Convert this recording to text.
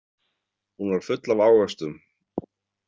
Hún var full af ávöxtum.